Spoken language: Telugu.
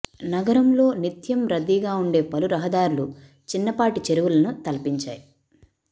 నగరంలో నిత్యం రద్దీగా ఉండే పలు రహదార్లు చిన్నపాటి చెరువులను తలపించాయి